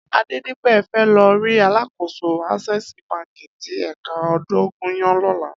Adedipe fè lò ri àlákósó Asèsí bànkí ti èkà Odogunyan lòlá